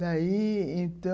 Daí, então...